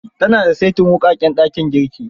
Ta na da saitin wuƙaƙen dakin girki.